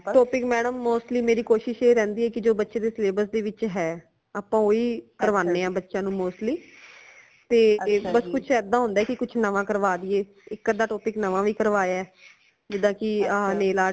topic madam mostly ਮੇਰੀ ਕੋਸ਼ਿਸ਼ ਐ ਰਹਿੰਦੀ ਹੈ ਕਿ ਜੋ ਬੱਚੇ ਦੇ syllabus ਦੇ ਵਿਚ ਹੈ ਆਪਾ ਓਹੀ ਕਰਵਾਣੇ ਹਾਂ ਬੱਚਿਆਂ ਨੂ mostly ਤੇ ਬਸ ਕੁਝ ਇਦਾ ਹੁੰਦਾ ਹੈ ਕਿ ਕੁਝ ਨਵਾਂ ਕਰਵਾ ਦੀਏ ਇਕ ਅੱਧਾ topic ਨਵਾਂ ਵੀ ਕਰਵਾਇਆ ਹੈ ਜਿਦਾ ਕਿ nail art